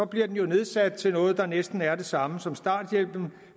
bliver den nedsat til noget der næsten er det samme som starthjælpen